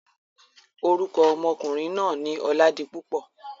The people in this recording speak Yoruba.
Orúkọ ọmọkùnrin náà ni Ọládipúpọ̀.